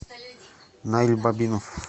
наиль бабинов